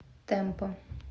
тэмпо